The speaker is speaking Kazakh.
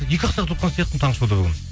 екі ақ сағат отырған сияқтымын таңғы шоуда бүгін